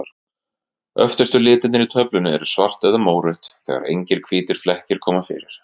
Öftustu litirnir í töflunni eru svart eða mórautt, þegar engir hvítir flekkir koma fyrir.